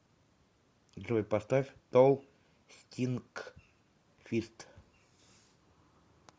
джой поставь тол стинкфист